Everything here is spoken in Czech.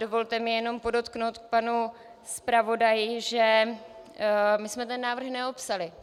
Dovolte mi jenom podotknout k panu zpravodaji, že my jsme ten návrh neopsali.